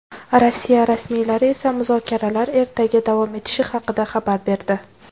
Rossiya rasmiylari esa muzokaralar ertaga davom etishi haqida xabar berdi.